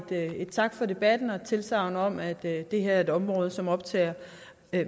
en tak for debatten og et tilsagn om at det her er et område som optager